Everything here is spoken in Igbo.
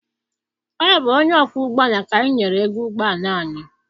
Ọ bụ onye ọkwọ ụgbọala ka anyị nyere ego ụgbọala anyị.